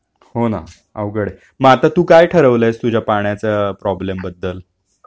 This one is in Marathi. हो ना अवघड ए मग आता तू काय ठरवलयस तुझ्या पाण्याच्या प्रॉब्लेम बद्दल